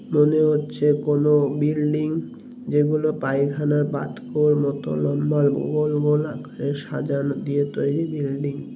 মনে হচ্ছে কোনো বিল্ডিং যেগুলো পায়খানার পাতকুয়োর মত লম্বা গোল গোল আকারের সাজানো দিয়ে তৈরি বিল্ডিং -টা ।